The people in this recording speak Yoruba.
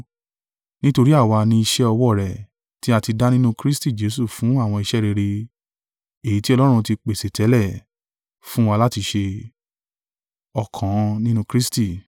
Nítorí àwa ni iṣẹ́ ọwọ́ rẹ̀ tí a ti dá nínú Kristi Jesu fún àwọn iṣẹ́ rere, èyí tí Ọlọ́run ti pèsè tẹ́lẹ̀, fún wa láti ṣe.